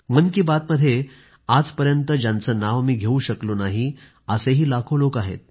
मन की बातमध्ये आजपर्यंत ज्यांचं नाव मी घेवू शकलो नाही असे लाखो लोक आहेत